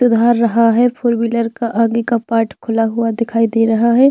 सुधर रहा है फोर वीलर के आगे के पार्ट खुला हुआ दिखाई दे रहा है।